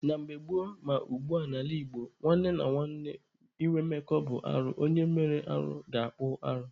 Na mgbe gboo ma ugbua n'ala Igbo, nwanne na nwanne ịnwe mmekọ bụ arụ. Onye mere arụ ga-akpụ arụ.